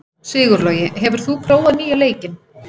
Sigurlogi, hefur þú prófað nýja leikinn?